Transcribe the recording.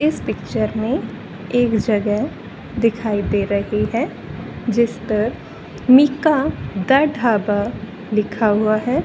इस पिक्चर में एक जगह दिखाई दे रही है जिस पर मीका दा ढाबा लिखा हुआ है।